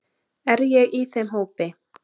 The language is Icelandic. Er ég í þeim hópi.